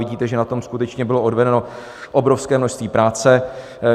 Vidíte, že na tom skutečně bylo odvedeno obrovské množství práce.